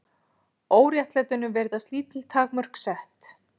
Óréttlætinu virðast lítil takmörk sett